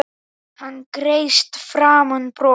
Hann kreisti fram bros.